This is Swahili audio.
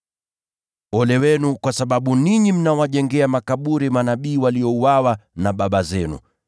“Ole wenu, kwa sababu ninyi mnajenga makaburi ya manabii waliouawa na baba zenu.